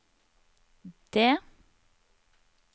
det